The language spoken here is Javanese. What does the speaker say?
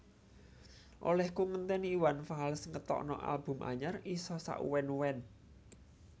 Olehku ngenteni Iwan Fals ngetokno album anyar iso sak uwen uwen